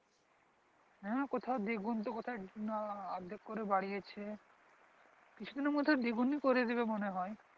হ্যাঁ কোথাও দেখুন তো কোথাও অর্ধেক করে বাড়িয়েছে কিছু দিনের মধ্যে দ্বিগুনি করে দেবে মনে হয়